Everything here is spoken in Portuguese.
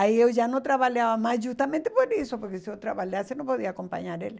Aí eu já não trabalhava mais, justamente por isso, porque se eu trabalhasse, eu não podia acompanhar ele.